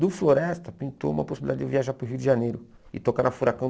Do Floresta, pintou uma possibilidade de eu viajar para o Rio de Janeiro e tocar na Furacão